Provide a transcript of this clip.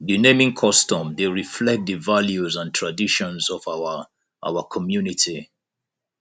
di naming custom dey reflect di values and traditions of our our community